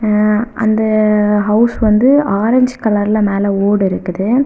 ஆ அந்த ஹவுஸ் வந்து ஆரஞ்சு கலர்ல மேல ஓடு இருக்குது.